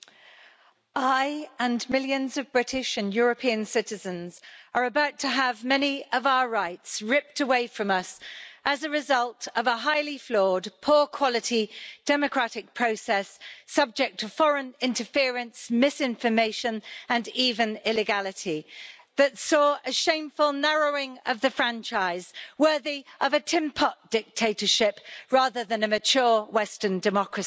Madam President, I and millions of British and European citizens are about to have many of our rights ripped away from us as a result of a highly flawed poor-quality democratic process subject to foreign interference, misinformation and even illegality that saw a shameful narrowing of the franchise worthy of a tin pot dictatorship rather than a mature Western democracy.